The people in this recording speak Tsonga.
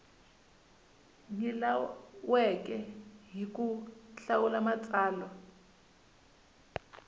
nyilaweke hi ku hlawula matsalwa